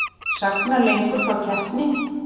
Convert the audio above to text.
Sagna lengur frá keppni